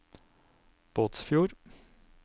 Båtsfjord